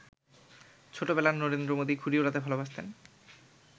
ছোটবেলায় নরেন্দ্র মোদি ঘুড়ি উড়াতে ভালোবাসতেন।